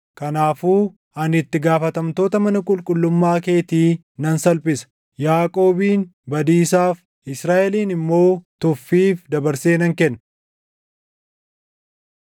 Kanaafuu ani itti gaafatamtoota // mana qulqullummaa keetii nan salphisa; Yaaqoobin badiisaaf, Israaʼelin immoo tuffiif dabarsee nan kenna.